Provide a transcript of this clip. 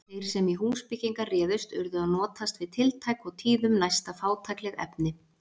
Þeir sem í húsbyggingar réðust urðu að notast við tiltæk og tíðum næsta fátækleg efni.